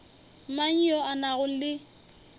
mang yo a nago le